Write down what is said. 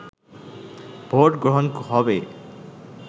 vote গ্রহন হবে